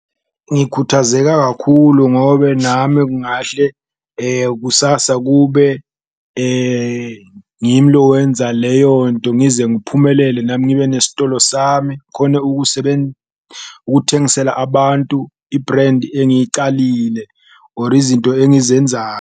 Ngikhathazeka kakhulu ngobe nami kungahle kusasa kube ngimi lo wenza leyo nto, ngize ngiphumelele nami ngibe nesitolo sami ngikhone ukuthengisela abantu i-brand engiyicalile or izinto .